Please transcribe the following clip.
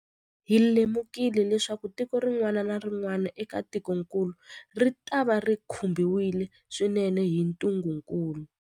Hi lemukile leswaku tiko rin'wana na rin'wana eka tikokulu ritava ri khumbiwile swinene hi ntungukulu.